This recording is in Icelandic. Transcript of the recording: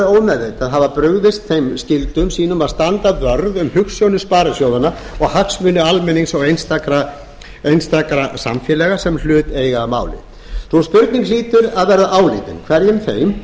ómeðvitað hafa brugðist þeim skyldum sínum að standa vörð um hugsjónir sparisjóðanna og hagsmuni almennings og einstakra samfélaga sem hlut eiga að máli sú spurning hlýtur að verða áleitin hverjum þeim